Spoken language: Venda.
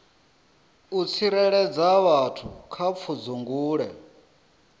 u tsireledza vhathu kha pfudzungule